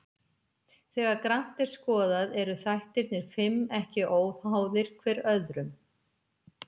Þegar grannt er skoðað eru þættirnir fimm ekki óháðir hver öðrum.